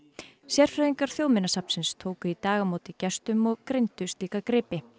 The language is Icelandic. sérfræðingar Þjóðminjasafnsins tóku í dag á móti gestum og greindu gripina